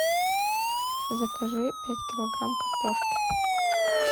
закажи пять килограмм картошки